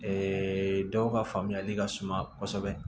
dɔw ka faamuyali ka suma kosɛbɛ